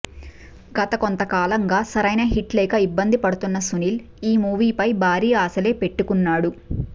గత కొంతకాలంగా సరైన హిట్ లేక ఇబ్బంది పడుతున్న సునీల్ ఈ మూవీ ఫై భారీ ఆశలే పెట్టుకున్నాడు